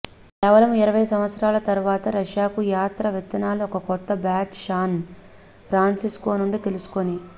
కేవలం ఇరవై సంవత్సరాల తరువాత రష్యాకు యాత్ర విత్తనాలు ఒక కొత్త బ్యాచ్ శాన్ ఫ్రాన్సిస్కో నుండి తీసుకుని